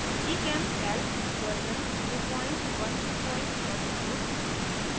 gchemcalc version 01210